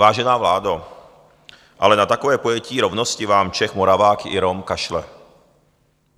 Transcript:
Vážená vládo, ale na takové pojetí rovnosti vám Čech, Moravák i Rom kašlou.